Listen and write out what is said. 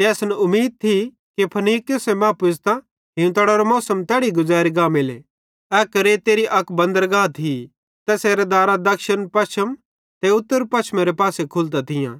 ते असन उमीद थी कि फीनिक्स मां पुज़तां हीवतड़ेरो मौसम तैड़ी गुज़ैरी गांमेले ए क्रेते अक बंदरगह थी ज़ैसेरां दारां क्षिणपश्चिम ते उत्तरपश्चिम पासे खुलतां थियां